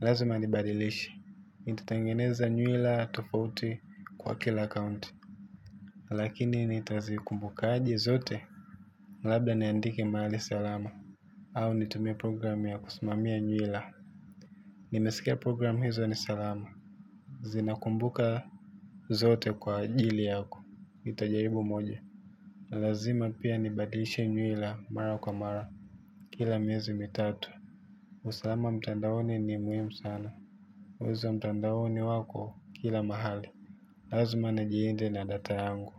Lazima nibadilishe. Nitatengeneza nywila tofauti kwa kila akaunti. Lakini nitazikumbukaje zote. Labda niandike mahali salama. Au nitumie program ya kusimamia nywila. Nimesikia program hizo ni salama. Zinakumbuka zote kwa ajili yako nitajaribu moja. Lazima pia nibadilishe nywila mara kwa mara. Kila miezi mitatu. Usalama mtandaoni ni muhimu sana wezi wa mtandaoni wako kila mahali. Lazima nijilinde na data yangu.